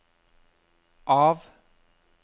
av